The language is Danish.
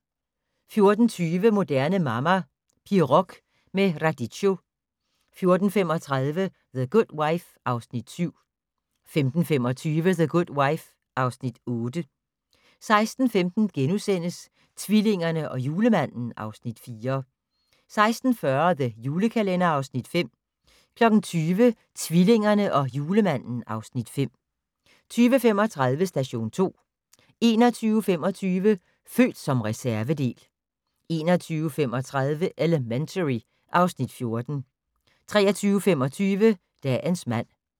14:20: Moderne Mamma - Pirog med radicchio 14:35: The Good Wife (Afs. 7) 15:25: The Good Wife (Afs. 8) 16:15: Tvillingerne og Julemanden (Afs. 4)* 16:40: The Julekalender (Afs. 5) 20:00: Tvillingerne og Julemanden (Afs. 5) 20:35: Station 2 21:25: Født som reservedel 22:35: Elementary (Afs. 14) 23:25: Dagens mand